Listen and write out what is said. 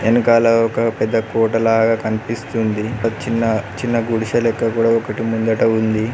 ఎనకాల ఒక పెద్ద కోటలాగా కనిపిస్తుంది ఒక చిన్న గిడిసె లెక్క కూడ ఒకటి ముంగట ఉంది.